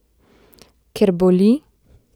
Ker boli?